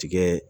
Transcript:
Tigɛ